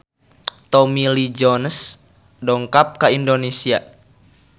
Tommy Lee Jones dongkap ka Indonesia